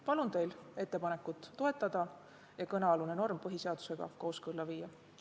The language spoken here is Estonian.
Palun teil ettepanekut toetada ja kõnealune norm põhiseadusega kooskõlla viia!